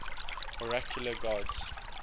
oracular gods